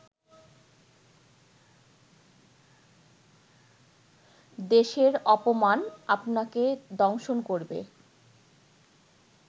দেশের অপমান আপনাকে দংশন করবে